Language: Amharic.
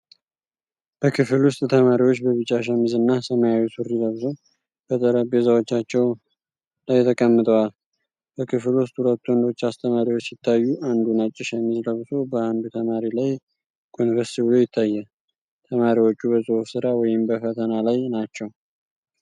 በክፍል ውስጥ ተማሪዎች በቢጫ ሸሚዝ እና ሰማያዊ ሱሪ ለብሰው በጠረጴዛዎቻቸው ላይ ተቀምጠዋል። በክፍል ውስጥ ሁለት ወንዶች አስተማሪዎች ሲታዩ፣ አንዱ ነጭ ሸሚዝ ለብሶ በአንዱ ተማሪ ላይ ጎንበስ ብሎ ይታያል። ተማሪዎቹ በጽሑፍ ሥራ ወይም በፈተና ላይ ናቸው።